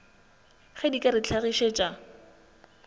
ge di ka re hlagišetša